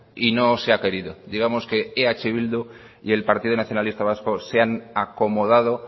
y no se ha querido digamos que eh bildu y el partido nacionalista vasco se han acomodado